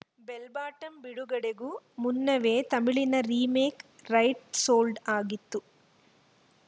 bell Bottom ಬಿಡುಗಡೆಗೂ ಮುನ್ನವೇ ತಮಿಳಿನ ರೀಮೇಕ್‌ ರೈಟ್‌ ಸೋಲ್ಡ‌ ಆಗಿತ್ತು